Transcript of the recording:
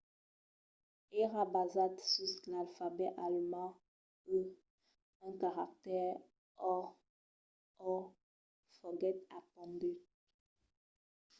èra basat sus l'alfabet alemand e un caractèr õ/õ foguèt apondut